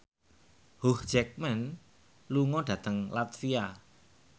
Hugh Jackman lunga dhateng latvia